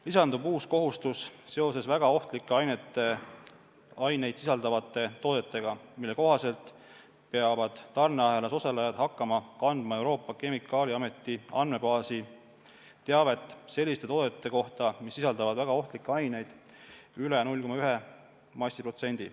Lisandub uus kohustus seoses väga ohtlikke aineid sisaldavate toodetega, mille kohaselt peavad tarneahelas osalejad hakkama kandma Euroopa Kemikaaliameti andmebaasi teavet selliste toodete kohta, mis sisaldavad väga ohtlikke aineid üle 0,1 massiprotsendi.